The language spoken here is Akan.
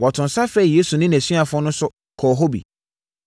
Wɔtoo nsa frɛɛ Yesu ne nʼasuafoɔ no nso kɔɔ hɔ bi.